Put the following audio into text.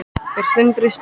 Er Sindri spenntur?